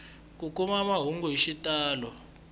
ku kuma mahungu hi xitalo